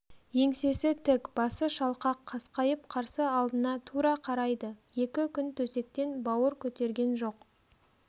еңсесі тік басы шалқақ қасқайып қарсы алдына тура қарайды екі күн төсектен бауыр көтерген жоқ